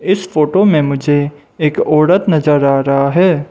इस फोटो में मुझे एक औरत नजर आ रहा है।